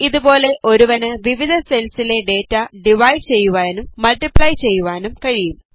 ഇതുപോലെ ഒരുവന് വിവിധ സെൽസിലെ ഡേറ്റ ഡിവൈഡ് ചെയ്യുവാനും മൾട്ടിപ്ലൈ ചെയ്യുവാനും കഴിയും